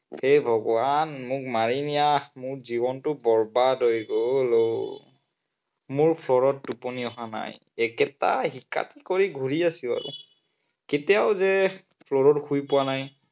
হে ভগৱান মোক মাৰি নিয়া। নোৰ জীৱনটো বৰবাদ হৈ গল অ মোৰ flour ত টোপনি অহা নাই, একেটা সিকাটি কৰি শুই আছো আৰু। কেতিয়াও যে flour ত শুই পোৱা নাই।